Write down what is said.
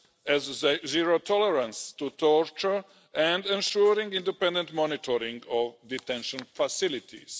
as zero tolerance to torture and ensuring independent monitoring of detention facilities.